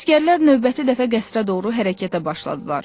Əsgərlər növbəti dəfə qəsrə doğru hərəkətə başladılar.